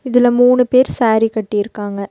இதுல மூணு பேர் சாரி கட்டிருக்காங்க.